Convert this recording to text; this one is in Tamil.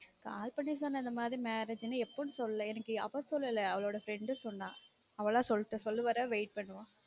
call பன்ணி சொன்னா இந்த மாதிரி marriage னு எப்போன்னு சொல்லல எனக்கு அவ சொல்லல அவளோட friend சொன்னா அவளா சொல்லட்டும் சொல்ற வர wait பண்ணுவோம்